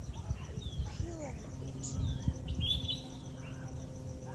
хилари и джеки